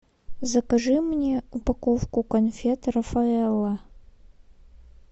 закажи мне упаковку конфет рафаэлло